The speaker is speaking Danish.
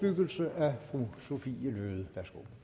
inden